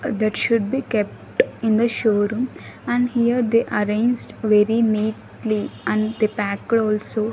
that should be kept in the showroom and here they arranged very neatly and they packed also.